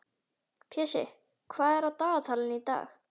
Pési, hvað er á dagatalinu í dag?